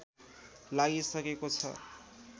लागिसकेको छ